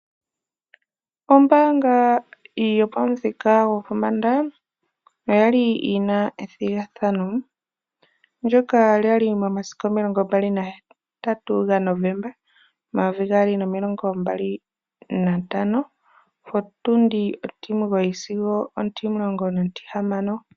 Ombaanga yopamuthika gwopombanda, oya li yina ethigathano, ndyoka lya li momasiku omilongo mbali nahetatu gaNovomba, omayovi gaali nomilongo mbali nantano, potundi ontimugoyi sigo ontimulongo nontihamano.